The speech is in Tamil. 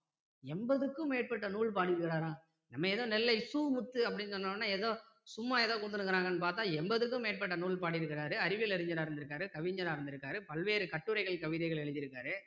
எண்பதுக்கும் மேற்பட்ட நூல் பாடி இருக்காரா நம்ம ஏதோ நெல்லை சு முத்து அப்படின்னு சொன்ன உடனே ஏதோ சும்மா ஏதோ கொடுத்துருக்காங்கன்னு பார்த்தா எண்பதுக்கும் மேற்பட்ட நூல் பாடி இருக்காரு அறிவியல் அறிஞரா இருந்திருக்காரு கவிஞரா இருந்திருக்காரு பல்வேறு கட்டுரைகள் கவிதைகள் எழுதி இருக்காரு